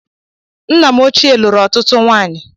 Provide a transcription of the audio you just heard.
Nna m ochie lụrụ ọtụtụ nwanyị